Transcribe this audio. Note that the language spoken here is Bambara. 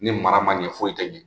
Ni mara ma ɲɛ foyi tɛ ɲɛ.